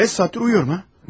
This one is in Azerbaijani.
Demək 5 saatdır yatıram ha?